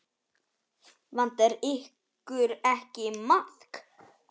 Vantar ykkur ekki maðk?